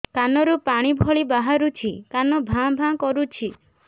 କାନ ରୁ ପାଣି ଭଳି ବାହାରୁଛି କାନ ଭାଁ ଭାଁ କରୁଛି